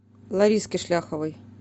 лариске шляховой